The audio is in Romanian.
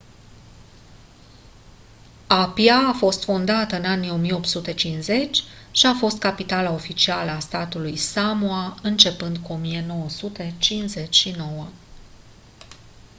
apia a fost fondată în anii 1850 și a fost capitala oficială a statului samoa începând cu 1959